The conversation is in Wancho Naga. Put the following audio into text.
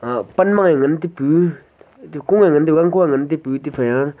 uh pangmange ngan taipu etu kue ngan taipu gangkhoe ngan taipu tephai a.